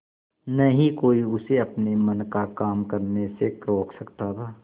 न ही कोई उसे अपने मन का काम करने से रोक सकता था